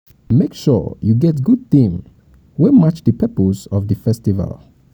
make sure you get good theme wey match di purpose of di festival